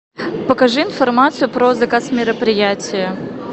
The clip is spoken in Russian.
покажи информацию про заказ мероприятия